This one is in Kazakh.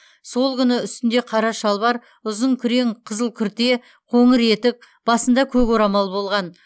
сол күні үстінде қара шалбар ұзын күрең қызыл күрте қоңыр етік басында көк орамал болған